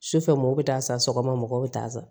Sufɛ mɔgɔw bɛ taa san sɔgɔma mɔgɔw bɛ taa san